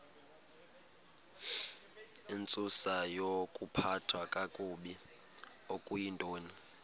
intsusayokuphathwa kakabi okuyintoni